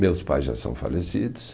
Meus pais já são falecidos.